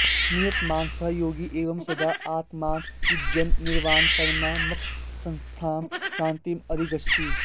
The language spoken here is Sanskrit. नियतमानसः योगी एवं सदा आत्मानं युञ्जन् निर्वाणपरमां मत्संस्थां शान्तिम् अधिगच्छति